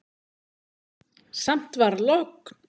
Samt var logn.